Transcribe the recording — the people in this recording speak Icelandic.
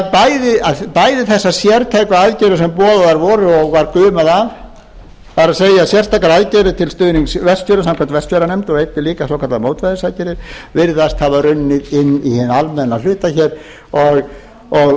bæði þessar sérstaka aðgerðir sem boðaðar voru og var gumað af það er sérstakar aðgerðir til stuðnings vestfjörðum samkvæmt vestfjarðanefnd og einnig líka svokallaðar mótvægisaðgerðir virðast hafa runnið inn í hinn almenna hluta hér og